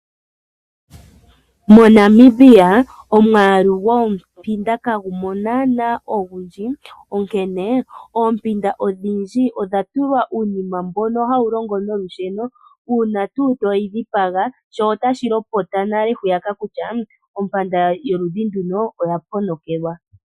MoNamibia omwaalu gwoompinda kagumo naana ogundji, onkene oompinda odhindji odha tulwa uunima mbono hawu longo nolusheno, uuna toyi dhipaga sho otashi lopota nale hwiya kutya ompinda yoludhi nduno oya ponokelwa.